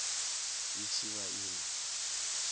i tshi vha i na